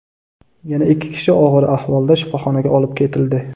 Yana ikki kishi og‘ir ahvolda shifoxonaga olib ketildi.